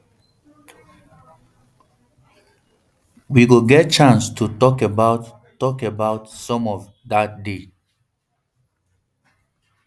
we go get chance to tok about tok about some of dat today